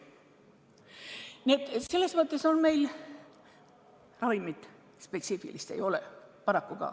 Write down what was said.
Nii et selles mõttes meil spetsiifilist ravimit ei ole.